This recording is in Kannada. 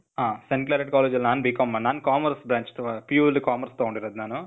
ಹ ಸೇಂಟ್ ಕ್ಲಾರೆಟ್ ಕಾಲೇಜ್ ಅಲ್ಲಿ ನಾನ್ BCom ಮಾ, ನಾನ್ commerce branch. PU ಅಲ್ಲಿ ಕಾಮರ್ಸ್ ತಗೊಂಡಿರೋದ್ ನಾನು.